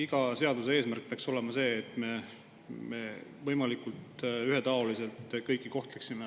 Iga seaduse eesmärk peaks olema see, et me võimalikult ühetaoliselt kõiki kohtleksime.